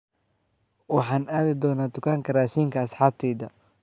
Waxaan aadi doonaa dukaanka raashinka asxaabteyda